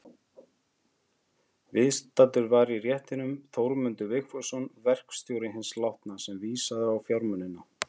Viðstaddur var í réttinum Þórmundur Vigfússon, verkstjóri hins látna, sem vísaði á fjármunina.